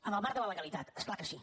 en el marc de la legalitat és clar que sí